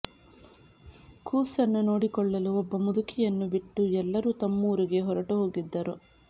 ಕೂಸನ್ನು ನೋಡಿಕೊಳ್ಳಲು ಒಬ್ಬ ಮುದುಕಿಯನ್ನು ಬಿಟ್ಟು ಎಲ್ಲರೂ ತಮ್ಮೂರಿಗೆ ಹೊರಟು ಹೋಗಿದ್ದರು